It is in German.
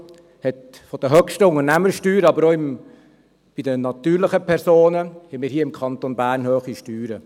Er hat eine der höchsten Unternehmenssteuern, aber auch bei den natürlichen Personen haben wir hier im Kanton Bern hohe Steuern.